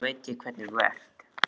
Nú veit ég hvernig þú ert!